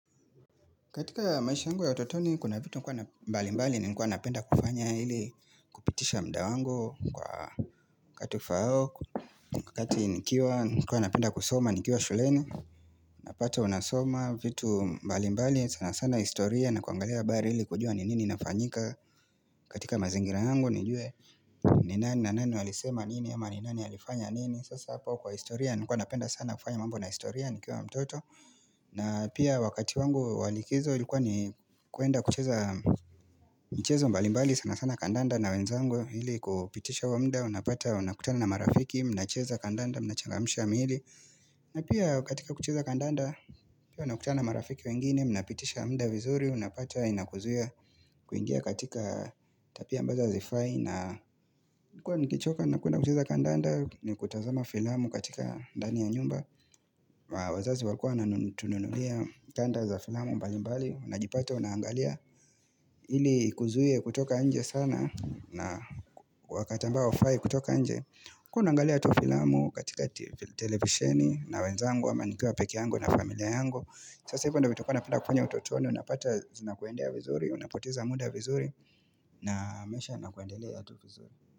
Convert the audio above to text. Katika maisha yangu ya utotoni, kuna vitu mbalimbali nilikuwa napenda kufanya ili kupitisha muda wangu kwa wakati ufaao. Wakati nikiwa, nilikuwa napenda kusoma, nikiwa shuleni, napata unasoma vitu mbalimbali, sana sana historia na kuangalia habari ili kujua ni nini inafanyika katika mazingira yangu, nijue ni nani na nani walisema nini, ama ni nani alifanya nini sasa hapa kwa historia, nilikuwa napenda sana kufanya mambo na historia, nikiwa mtoto na pia wakati wangu wa likizo ilikuwa ni kuenda kucheza michezo mbalimbali sana sana kandanda na wenzangu. Ili kupitisha huo muda unapata unakutana na marafiki, mnacheza kandanda mnachangamsha miili na pia katika kucheza kandanda pia unakutana na marafiki wengine, mnapitisha muda vizuri unapata inakuzia kuingia katika tabia ambazo hazifai na nakuwa nikichoka nakwenda kucheza kandanda na kutazama filamu katika ndani ya nyumba na wazazi walikuwa wanatununulia tanda za filamu mbalimbali unajipata unaangalia ili kuzuia kutoka nje sana na wakati ambao haufai kutoka nje, kuwa naangalia tu filamu katika televisheni na wenzangu ama nikiwa peke yangu na familia yangu, sasa hivyo ndio vitu nilikuwa napenda kufanya utotoni unapata zina kuendea vizuri unapoteza muda vizuri. Na maisha yanakuendelea tu vizuri.